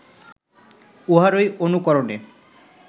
উহারই অনুকরণে